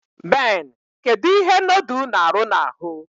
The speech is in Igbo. Ben, kedu ihe nodul n'aru na-ahu